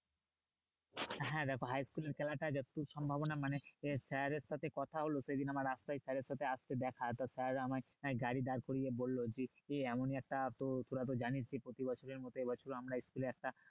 হ্যাঁ দেখো high school টা যতদূর সম্ভাবনা মানে আহ sir দের সাথে কথা হল সে দিন আমার রাস্তায় sir এর সাথে আসতে দেখা তো sir আমায় গাড়ি দাঁড় করিয়ে বললো যে এমনি একটা তো তোরা তো জানিস যে প্রতি বছরই মতো এ বছরও আমরা school এ একটা